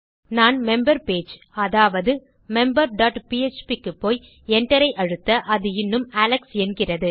நான் member page அதாவது member dot PHP க்குப்போய் enter ஐ அழுத்த அது இன்னும் அலெக்ஸ் என்கிறது